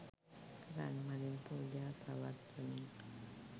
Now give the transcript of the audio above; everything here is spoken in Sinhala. රන් මලින් පූජා පවත්වමින්